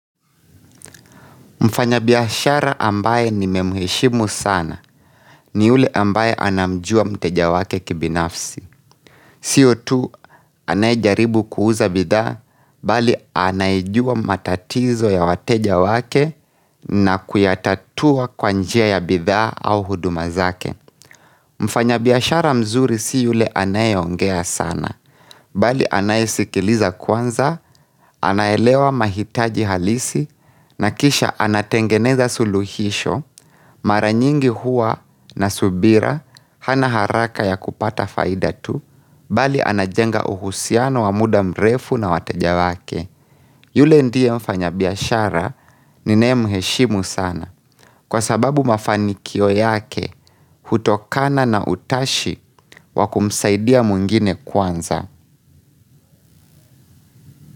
Mfanyabiashara ambaye nimemheshimu sana ni ule ambaye anamjua mteja wake kibinafsi. Siyo tu anayejaribu kuuza bidhaa bali anayejua matatizo ya wateja wake na kuyatatua kwa njia ya bidhaa au huduma zake. Mfanyabiashara mzuri si yule anayeongea sana bali anayesikiliza kwanza, anaelewa mahitaji halisi na kisha anatengeneza suluhisho. Mara nyingi huwa na subira hana haraka ya kupata faida tu, bali anajenga uhusiano wa muda mrefu na wateja wake. Yule ndiye mfanyabiashara ninaye mheshimu sana. Kwa sababu mafanikio yake, hutokana na utashi wa kumsaidia mwingine kwanza.